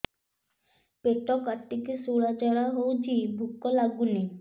ପେଟ କାଟିକି ଶୂଳା ଝାଡ଼ା ହଉଚି ଭୁକ ଲାଗୁନି